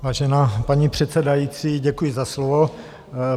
Vážená paní předsedající, děkuji za slovo.